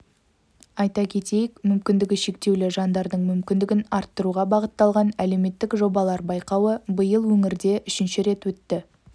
айта кетейік мүмкіндігі шектеулі жандардың мүмкіндігін арттыруға бағытталған әлеуметтік жобалар байқауы биыл өңірде үшінші рет өтті